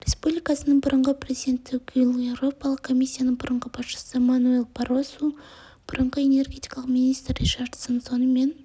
республикасының бұрынғы президенті гюль еуропалық комиссияның бұрынғы басшысы мануэль баррозу бұрынғы энергетика министрі ричардсон сонымен